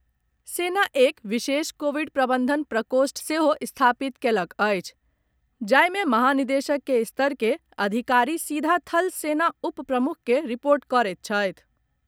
सेना एक विशेष कोविड प्रबंधन प्रकोष्ठ सेहो स्थापित कयलक अछि जाहि मे महानिदेशक के स्तर के अधिकारी सीधा थल सेना उप प्रमुख के रिपोर्ट करैत छथि।